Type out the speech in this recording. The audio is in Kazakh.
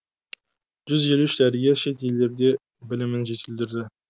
жүз елу үш дәрігер шет елдерде білімін жетілдірді